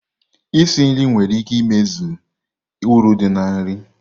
Isi nri nwere ike imezi uru dị na nri.